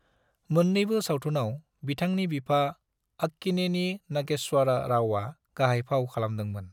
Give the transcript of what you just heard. मोन्नैबो सावथुनाव बिथांनि बिफा अक्कीनेनी नागेश्वर रावआ गाहाय फाव खालामदोंमोन।